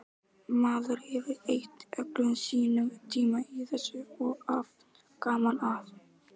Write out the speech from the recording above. Maður hefur eytt öllum sínum tíma í þessu og haft gaman að.